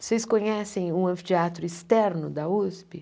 Vocês conhecem o anfiteatro externo da USP?